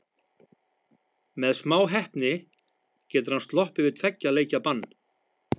Með smá heppni getur hann sloppið við tveggja leikja bann.